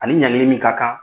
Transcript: Ani ɲangili minmin ka kan